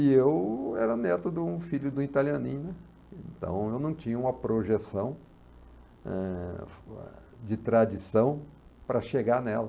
E eu era neto de um filho de um italianinho, então eu não tinha uma projeção, eh, de tradição para chegar nela.